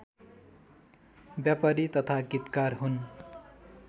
व्यापारी तथा गीतकार हुन्